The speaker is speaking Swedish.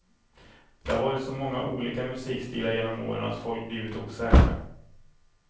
Det har varit så många olika musikstilar genom åren att folk blivit osäkra.